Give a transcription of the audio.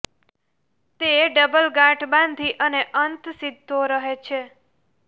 તે ડબલ ગાંઠ બાંધી અને અંત સીધો રહે છે